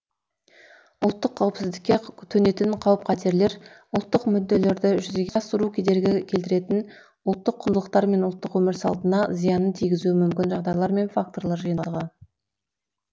ұлттық қауіпсіздікке төнетін қауіп қатерлер ұлттық мүдделерді жүзеге асыруға кедергі келтіретін ұлттық құндылықтар мен ұлттық өмір салтына зиянын тигізуі мүмкін жағдайлар мен факторлар жиынтығы